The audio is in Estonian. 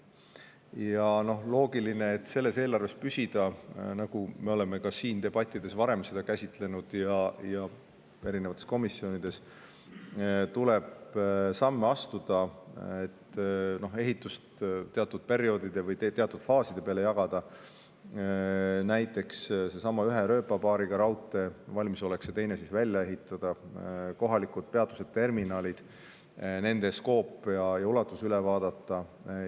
Ja on loogiline, et selles eelarves püsimiseks – nagu me oleme seda ka siin debattides ja erinevates komisjonides varem käsitlenud – tuleb samme astuda, et ehitust teatud perioodide või faaside peale ära jagada, näiteks ühe rööpapaariga raudtee puhul valmisolek teine välja ehitada; kohalikud peatused ja terminalid, nende ulatus üle vaadata.